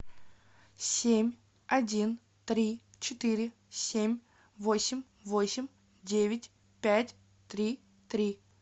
семь один три четыре семь восемь восемь девять пять три три